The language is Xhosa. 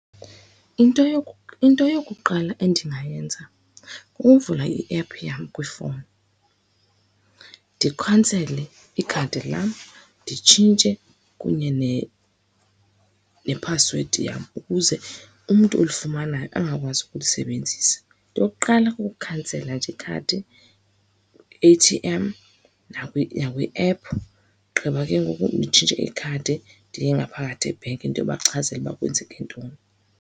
Into , into yokuqala endingayenza kuvula iephu yam kwifowuni ndikhansele ikhadi lam, nditshintshe kunye nephasiwedi yam ukuze umntu olifumanayo angakwazi ukulisebenzisa. Into yokuqala kukukhansela nje ikhadi kwi-A_T_M nakwiephu, ogqiba ke ngoku nditshintshe ikhadi, ndiye ngaphakathi ebhenki ndiyobachazela uba kwenzeke ntoni.